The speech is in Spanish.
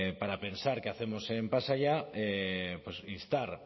para pensar qué hacemos en pasaia pues instar